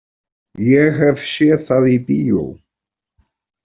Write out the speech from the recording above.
Ég hef séð það í bíó.